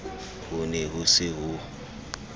ho ne ho se ho